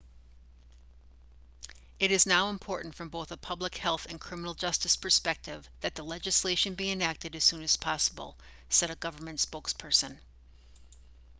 it is now important from both a public health and criminal justice perspective that the legislation be enacted as soon as possible said a government spokesperson